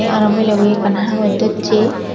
araw milebo hi ekkan hagos dosse.